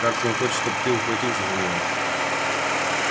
кажется он хочет чтобы ты ухватился за него